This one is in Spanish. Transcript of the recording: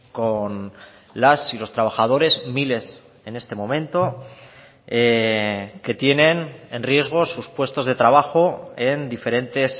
con las y los trabajadores miles en este momento que tienen en riesgo sus puestos de trabajo en diferentes